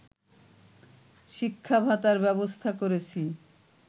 শিক্ষা ভাতার ব্যবস্থা করেছি